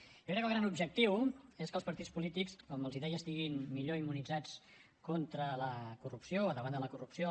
jo crec que el gran objectiu és que els partits polítics com els deia estiguin millor immunitzats contra la corrupció o davant de la corrupció